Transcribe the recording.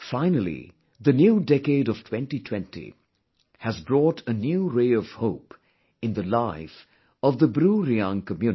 Finally the new decade of 2020, has brought a new ray of hope in the life of the BruReang community